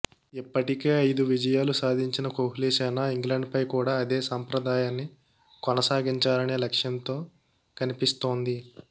ఇప్పటికే ఐదు విజయాలు సాధించిన కోహ్లి సేన ఇంగ్లండ్పై కూడా అదే సంప్రదాయాన్ని కొనసాగించాలనే లక్షంతో కనిపిసిస్తోంది